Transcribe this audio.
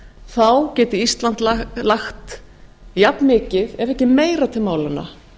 þá geti ísland lagt jafnmikið ef ekki meira til málanna